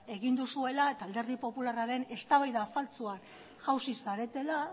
egin duzuela eta alderdi popularraren eztabaida faltsua jauzi zaretela